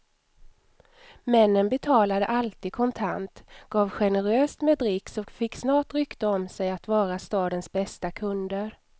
Männen betalade alltid kontant, gav generöst med dricks och fick snart rykte om sig att vara stadens bästa kunder.